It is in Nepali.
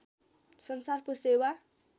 संसारको सेवा